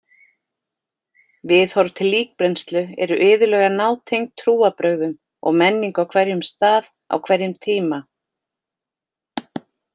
Viðhorf til líkbrennslu eru iðulega nátengd trúarbrögðum og menningu á hverjum stað á hverjum tíma.